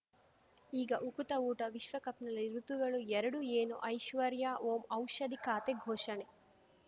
ಈಗ ಉಕುತ ಊಟ ವಿಶ್ವಕಪ್‌ನಲ್ಲಿ ಋತುಗಳು ಎರಡು ಏನು ಐಶ್ವರ್ಯಾ ಓಂ ಔಷಧಿ ಖಾತೆ ಘೋಷಣೆ